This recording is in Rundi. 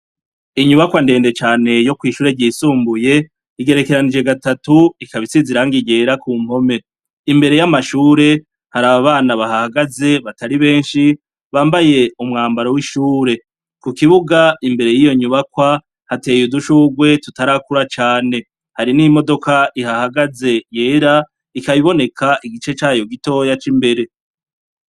inyubakwa ndende cane yo kwishure ryisumbuye, igerekeranije gatatu ikaba isize irangi ryera ku mpome, imbere y'amashure hari abana bahahagaze batari benshi bambaye umwambaro w'ishure , ku kibuga imbere y'iyo nyubakwa hateye udushurwe tutarakura cyane hari n'imodoka ihahagaze yera ikabiboneka igice cayo gitoya c'imbere.